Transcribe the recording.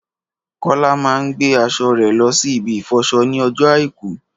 Kọ́lá máa ń gbé aṣọ rè lọ ṣí ibi ìfọṣọ ní ojó àìkú